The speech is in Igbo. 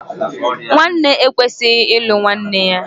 Nwanne ekwesighi ịlụ nwanne ya.